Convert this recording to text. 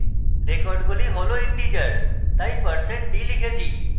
রেকর্ডগুলি হল integers তাই আমরা% d লিখেছি